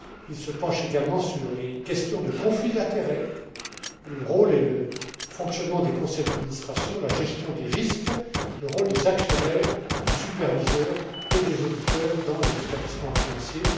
Il se penche également sur les questions de conflits d'intérêts, le rôle et le fonctionnement des conseils d'administration, la gestion des risques, le rôle des actionnaires, des superviseurs et des auditeurs dans les établissements financiers.